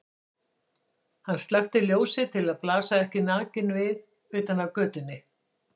Hann slökkti ljósið til að blasa ekki nakinn við utan af götunni.